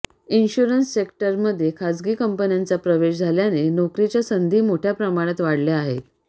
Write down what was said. insurance सेक्टरमध्ये खासगी कंपन्यांचा प्रवेश झाल्याने नोकरीच्या संधी मोठ्या प्रमाणात वाढल्या आहेत